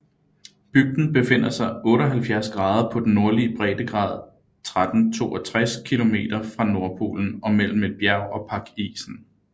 Bygden befinder sig 78 grader på den nordlige breddegrad 1362 kilometer fra Nordpolen og mellem et bjerg og pakisen